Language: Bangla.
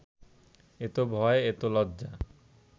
এত ভয়, এত লজ্জা